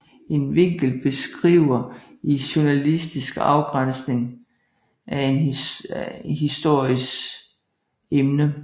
En vinkel beskriver i journalistik afgræsningen af en histories emne